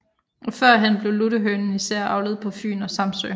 Førhen blev luttehønen især avlet på Fyn og Samsø